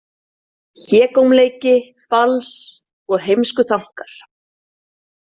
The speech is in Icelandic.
Hégómleiki, fals og heimskuþankar.